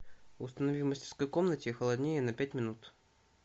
установи в мастерской комнате холоднее на пять минут